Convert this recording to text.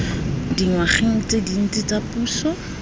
dingwageng tse dintsi tsa puso